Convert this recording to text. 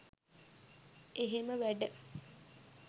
එහෙම වැඩ